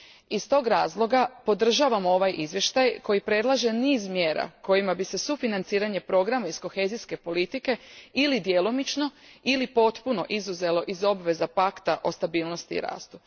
Iz tog razloga podržavam ovaj izvještaj koji predlaže niz mjera kojima bi se sufinanciranje programa iz kohezijske politike ili djelomično ili potpuno izuzelo iz obveza Pakta o stabilnosti i rastu.